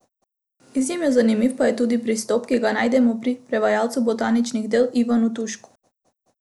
Izjemno zanimiv pa je tudi pristop, ki ga najdemo pri prevajalcu botaničnih del Ivanu Tušku.